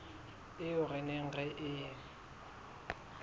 eo re neng re e